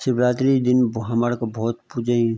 शिवरात्रि दिन भौ हमारा का भौत पुजेयी।